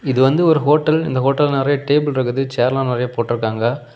இது வந்து ஒரு ஹோட்டல் இந்த ஹோட்டல்ல நறைய டேபிள் இருக்குது சேர்ல்லா நறைய போட்ருக்காங்க.